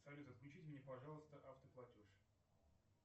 салют отключите мне пожалуйста автоплатеж